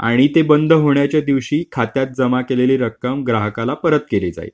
आणि ते बंद होण्याच्या दिवशी खात्यात जमा केलेली रक्कम ग्राहकाला परत केली जाईल.